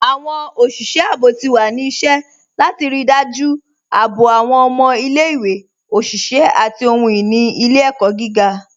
Awọn oṣiṣẹ àbọ̀ ti wà ní ìṣẹ̀ látì ríí dájú àbọ̀ awọn ọmọ ilẹ̀-ìwé, oṣiṣẹ̀, àti ohun-ini ilẹ̀-ẹkọ gígá